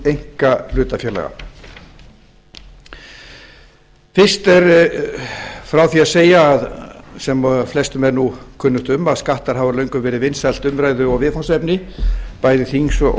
einkahlutafélaga fyrst er frá því að segja sem flestum er kunnugt um að skattar hafa löngum verið vinsælt umræðu og viðfangsefni bæði þings og